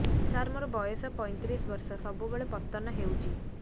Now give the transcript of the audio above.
ସାର ମୋର ବୟସ ପୈତିରିଶ ବର୍ଷ ସବୁବେଳେ ପତନ ହେଉଛି